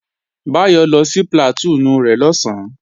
Báyọ̀ lọ sí plàtúùnù rẹ̀ lọ̀sán